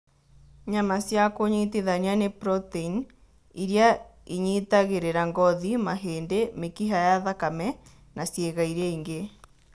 Nyama cia kũnyitithania nĩ protein iria inyitagĩrĩra ngothi, mahĩndĩ, mĩkiha ya thakame na ciĩga iria ingĩ.